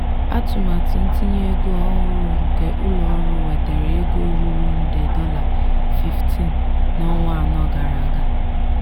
atụmatụ ntinye ego ọhụrụ nke ụlọọrụ wetara ego ruru nde dollar 15 n’ọnwa anọ gara aga.